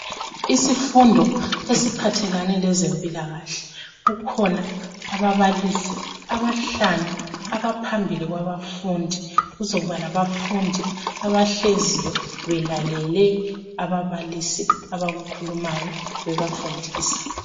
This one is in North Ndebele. Isifundo esiphathelane lezempilakahle kukhona ababalisi abahlanu abaphambili kwabafundi, kuzokuba labafundi abahleziyo belalele ababalisi abakukhulumayo bebafundisa.